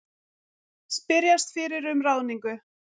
Spyrjast fyrir um ráðningu